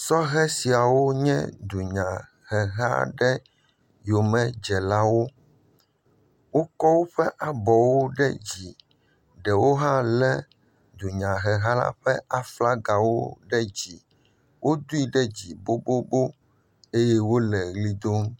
Sɔhe siawo nye dunyaheha aɖewo yomedzelawo, wokɔ woƒe abɔwo ɖe dzi ɖewo hã lé dunyaheha la ƒe flaga ɖe dzi, wodoe ɖe dzi bobobo eye wole ʋli dom.